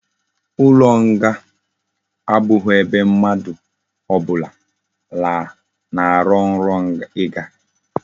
Ulo nga abughi ebe mmadu obula na aro nro iga